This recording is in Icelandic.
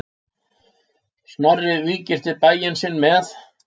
Snorri víggirti bæ sinn með.